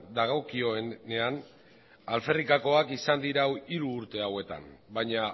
dagokionean alferrikakoak izan dira hiru urte hauetan baina